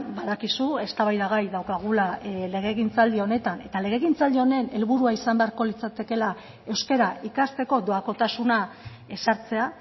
badakizu eztabaidagai daukagula legegintzaldi honetan eta legegintzaldi honen helburua izan beharko litzatekeela euskara ikasteko doakotasuna ezartzea